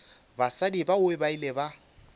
basadi bao ba ile ba